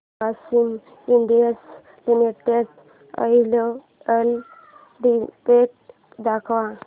Grasim industries limited annual report दाखव